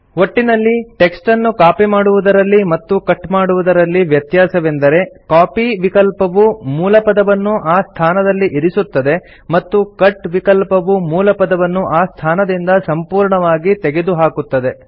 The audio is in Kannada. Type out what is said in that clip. ಒಟ್ಟಿನಲ್ಲಿ ಟೆಕ್ಸ್ಟನ್ನು ಕಾಪಿ ಮಾಡುವುದರಲ್ಲಿ ಮತ್ತು ಕಟ್ ಮಾಡುವುದರಲ್ಲಿ ವ್ಯತ್ಯಾಸವೆಂದರೆ ಕಾಪಿ ವಿಕಲ್ಪವು ಮೂಲಪದವನ್ನು ಆ ಸ್ಥಾನದಲ್ಲಿ ಇರಿಸುತ್ತದೆ ಮತ್ತು ಕಟ್ ವಿಕಲ್ಪವು ಮೂಲಪದವನ್ನು ಆ ಸ್ಥಾನದಿಂದ ಸಂಪೂರ್ಣವಾಗಿ ತೆಗೆದುಹಾಕುತ್ತದೆ